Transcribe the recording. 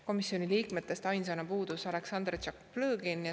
Komisjoni liikmetest puudus ainsana Aleksandr Tšaplõgin.